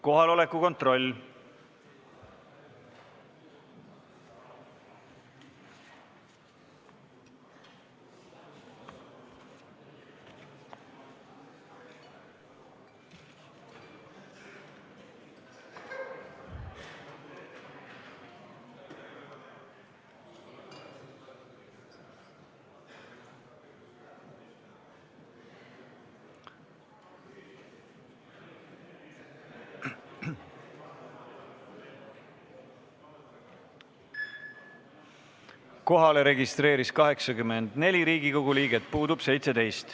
Kohaloleku kontroll Kohalolijaks registreeris end 84 Riigikogu liiget, puudub 17.